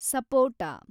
ಸಪೋಟ